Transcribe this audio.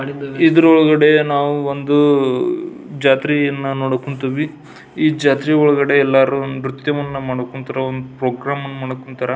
ಇದ್ರ ಒಳಗಡೆ ನಾವು ಒಂದ್ ಜಾತ್ರೆ ನೋಡಕ್ ಹೊಂಟಿವಿ ಈ ಜಾತ್ರೆ ಒಳಗಡೆ ಎಲ್ಲರು ನ್ರತ್ಯವನು ಮಾಡೋಕೋತೀರೋ ಒಂದ್ ಪ್ರೋಗ್ರಾಮನ್ ಮಾಡಕ್ ಹೊಂಟಾರ.